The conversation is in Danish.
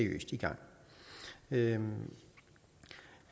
videre